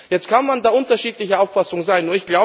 Jetzt kann man da unterschiedlicher Auffassung sein.